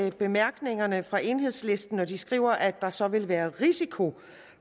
i bemærkningerne fra enhedslisten når de skriver at der så vil være risiko